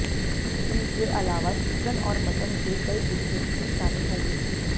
इनके अलावा चिकन और मटन के कई डिशेज भी शामिल होंगे